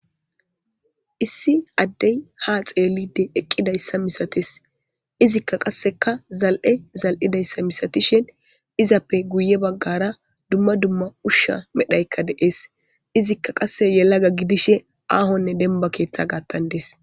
issi addey ha xeeliide eqqidayssa misates izikka qasseka zal'e zal'idayssa misatishin izappe guye baggara dumma dumma ushsha medhdhaykka de'ees izikka qasse yelagga gidishshe aahonne denba keeththa gattan dees